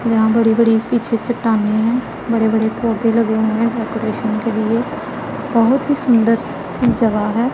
यहां बड़ी बड़ी पीछे चट्टानें है बड़े बड़े पौधे लगे हुए हैं डेकोरेशन के लिए बहोत ही सुंदर सी जगह है।